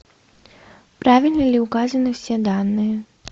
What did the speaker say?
правильно ли указаны все данные